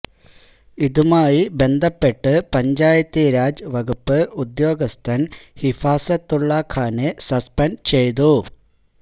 ഇതുമായി ബന്ധപ്പെട്ട് പഞ്ചായത്തീരാജ് വകുപ്പ് ഉദ്യോഗസ്ഥന് ഹിഫാസത്തുള്ള ഖാനെ സസ്പെന്ഡ് ചെയ്തു